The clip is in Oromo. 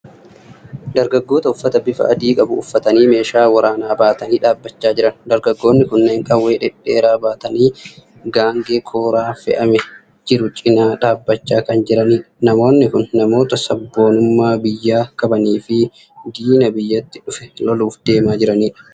Dargaggoota uffata bifa adii qabu uffatanii meeshaa waraanaa baatanii dhaabachaa jiran. Dargaggoonni kunneen qawwee dhedheeraa baatanii Gaangee kooraan fe'amee jiru cinaa dhaabachaa kan jiranidha. Namoonni kun namoota sabboonummaa biyyaa qabanii fi diina biyyatti dhufe loluuf deemaa jiranidha.